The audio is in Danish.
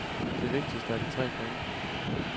Det vigtigste er de tre point.